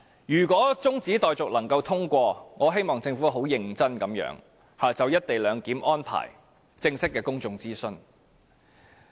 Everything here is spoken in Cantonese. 如果中止待續議案獲得通過，我希望政府會很認真地就"一地兩檢"安排進行正式的公眾諮詢。